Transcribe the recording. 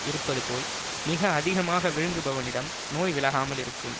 இருப்பது போல் மிக அதிகமாக விழுங்குபவனிடம் நோய் விலகாமல் இருக்கும்